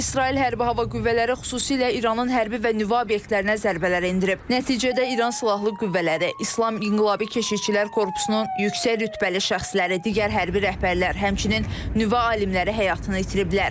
İsrail Hərbi Hava Qüvvələri xüsusilə İranın hərbi və nüvə obyektlərinə zərbələr endirib, nəticədə İran Silahlı Qüvvələri, İslam İnqilabi Keşikçilər Korpusunun yüksək rütbəli şəxsləri, digər hərbi rəhbərlər, həmçinin nüvə alimləri həyatını itiriblər.